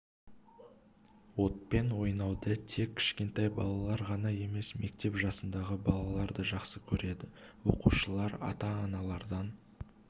отпен ойнауды тек кішкентай балалар ғана емес мектеп жасындағы балалар да жақсы көреді оқушылар ата-аналардан